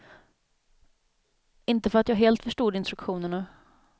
Inte för att jag helt förstod instruktionerna.